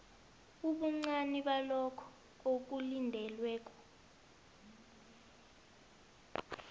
ubuncani balokho okulindelweko